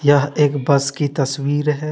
यह एक बस की तस्वीर है।